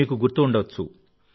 మీకు గుర్తు ఉండవచ్చు